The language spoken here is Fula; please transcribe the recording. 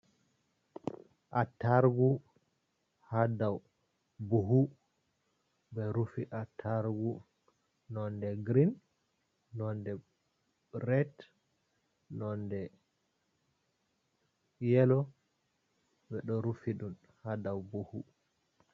Attargu, ha dau buhu ɓe rufi a attargu nonɗe green, nonɗe red, nonɗe yelo ɓe ɗo rufi dum ha dau buhu.